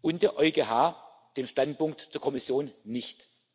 und der EuGH dem Standpunkt der Kommission nicht.